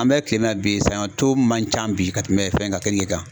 An bɛ kile na bi sanɲɔ to man ca bi ka tɛmɛ fɛn kan keninge kan.